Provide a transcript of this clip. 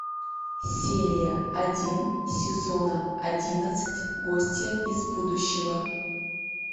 серия один сезона одиннадцать гостья из будущего